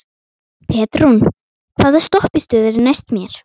Petrún, hvaða stoppistöð er næst mér?